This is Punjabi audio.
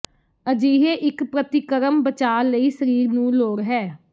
ਅਜਿਹੇ ਇੱਕ ਪ੍ਰਤੀਕਰਮ ਬਚਾਅ ਲਈ ਸਰੀਰ ਨੂੰ ਲੋੜ ਹੈ